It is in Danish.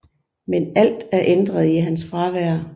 Men alt er ændret i hans fravær